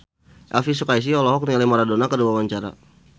Elvy Sukaesih olohok ningali Maradona keur diwawancara